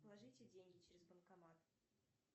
положите деньги через банкомат